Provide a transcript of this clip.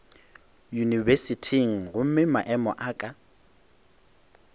yunibesithing gomme maemo a ka